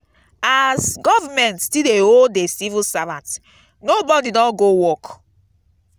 as government still dey owe the civil servants nobody don go work